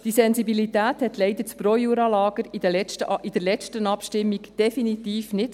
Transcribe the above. Diese Sensibilität hatte das Projura-Lager in der letzten Abstimmung leider definitiv nicht.